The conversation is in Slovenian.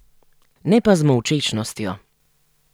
Ne pa z molčečnostjo.